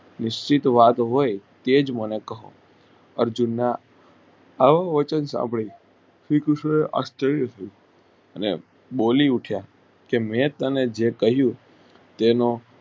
નિષદીદ વાત હોય તે જ મને કહો અર્જુનના આવો અર્જુન સાંભળીયે શ્રીકૃષ્ણ એ આશ્રય કહ્યું ને બોલી ઉઠ્યા કે મેં તને જે કહ્યું તેમાં